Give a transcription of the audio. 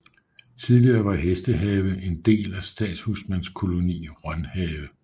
Tidligere var Hestehave en del af Statshusmandskoloni Rønhave